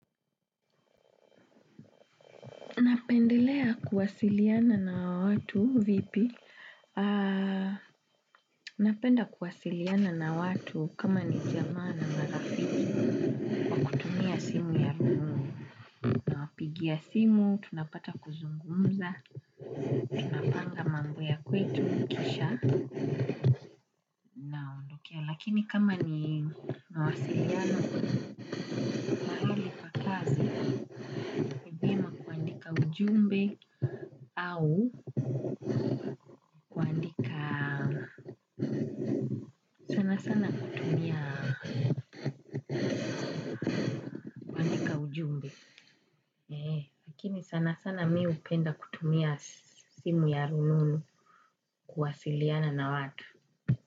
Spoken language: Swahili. Napendelea kuwasiliana na watu, vipi? Ah, napenda kuwasiliana na watu kama ni jamaa na marafiki. Kwa kutia simu ya na. Naapigia simu, tunapata kuzungumza. Napanga mambo ya kwetu, kisha. Lakini kama ni nawasiliana kazi. Kaujumbe au sana sana kutumia ujumbe. Kini sana sana mi upenda kutumia simu ya rununu kuwasiliana na watu.